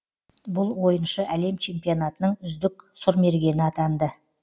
бұл ойыншы әлем чемпионатының үздік сұрмергені атанды